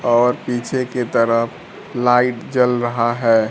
और पीछे के तरफ लाइट जल रहा है।